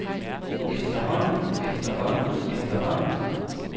efterhånden efterhånden efterhånden